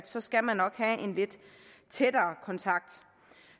så skal man nok have en lidt tættere kontakt